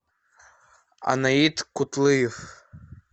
анаид кутлыев